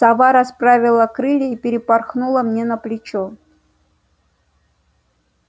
сова расправила крылья и перепорхнула мне на плечо